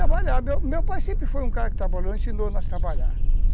Tinha que trabalhar, meu pai sempre foi um cara que trabalhou, ensinou nós a trabalhar.